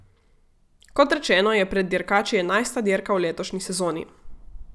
Kot rečeno je pred dirkači enajsta dirka v letošnji sezoni.